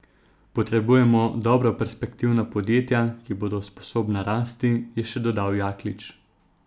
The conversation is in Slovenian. Potrebujemo dobra perspektivna podjetja, ki bodo sposobna rasti, je še dodal Jaklič.